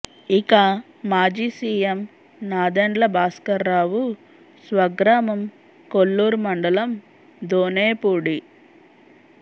ఇక మాజీ సీఎం నాదెండ్ల భాస్కరరావు స్వగ్రామం కొల్లూరు మండలం దోనేపూడి